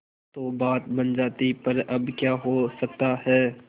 तो बात बन जाती पर अब क्या हो सकता है